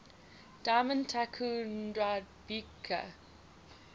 diamond tycoon nwabudike